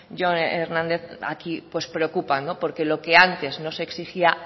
jon hernández aquí pues preocupa porque lo que antes no exigía